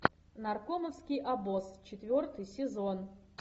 наркомовский обоз четвертый сезон